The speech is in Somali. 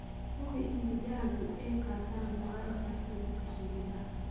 Hubi in digaaggu ay qaataan tallaalka hargabka shimbiraha.